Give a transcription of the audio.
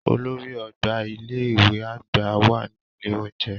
Olórí ọgbà ilé ìwé àgbà wà ní ilé oúnjẹ.